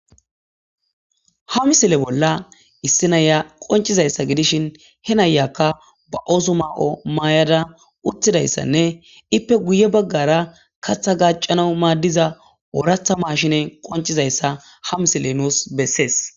Ha misile bolla issi naya qoncizayssa gidishin he nayakka ba7oosu maao maayada uttidayssanne ippe guye baggara katha gacanau maaddiza ooratha maashine qoncizayssa ha misile nuus bessees.